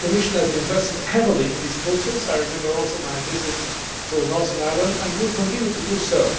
The Commission has invested heavily in this process. I remember also my visit to Northern Ireland and will continue to do so.